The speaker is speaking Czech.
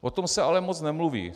O tom se ale moc nemluví.